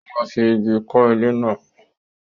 Ó máa fi ìgi kọ́ ilé náà.